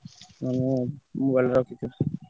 ତମେ mobile ଟା ରଖିଥିବ।